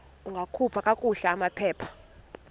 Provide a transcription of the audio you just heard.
ungakhupha kakuhle amaphepha